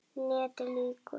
NETIÐ LÝKUR